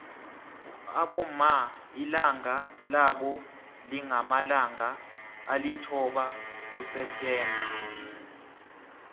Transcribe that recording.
abomma ilanga labo lingamalanga alithoba kuseptember